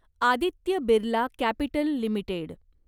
Aditya Birla capital limited